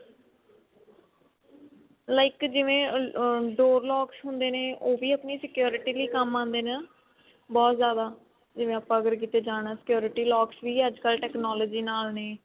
like ਜਿਵੇਂ ਅਹ door lock ਹੁੰਦੇ ਨੇ ਉਹ ਵੀ ਆਪਣੀ security ਲਈ ਕੰਮ ਆਉਂਦੇ ਨੇ ਬਹੁਤ ਜ਼ਿਆਦਾ ਜਿਵੇਂ ਆਪਾਂ ਅਗਰ ਕਿਤੇ ਜਾਣਾ security locks ਵੀ ਅੱਜਕਲ technology ਨਾਲ ਨੇ